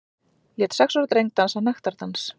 Lét sex ára dreng dansa nektardans